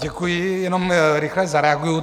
Děkuji, jenom rychle zareaguji.